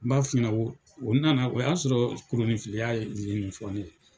N b'a f'i ɲɛna, o nana o y'a sɔrɔ kolonifilila ye nin fɔ ne ye.